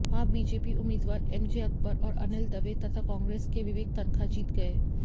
वहां बीजेपी उम्मीदवार एमजे अकबर और अनिल दवे तथा कांग्रेस के विवेक तनखा जीत गए